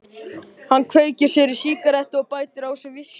Hann kveikir sér í sígarettu og bætir á sig viskíi.